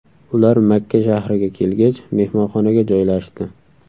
Ular Makka shahriga kelgach, mehmonxonaga joylashdi.